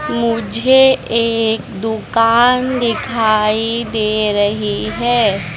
मुझे एक दुकान दिखाई दे रही है।